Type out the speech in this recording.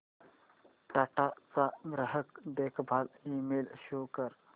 टाटा चा ग्राहक देखभाल ईमेल शो कर